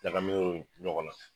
Ɲagaminen dɔ ɲɔgɔn na